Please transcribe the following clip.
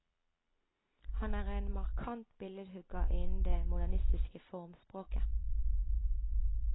Han er en markant billedhugger innen det modernistiske formspråket.